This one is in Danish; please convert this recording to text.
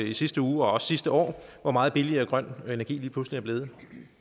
i sidste uge og også sidste år hvor meget billigere grøn energi lige pludselig er blevet